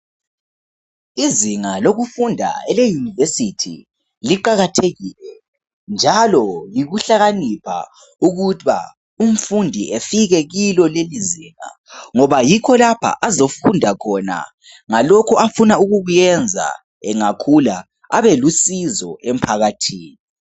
Izinga lokufunda eleyunivesithi liqakathekile njalo yikuhlakanipha ukuba umfundi efike kuleli zinga ngoba yikho lapha azofunda khona ngalokhu afuna ukukuyenza engakhula abe lusizo emphakathini.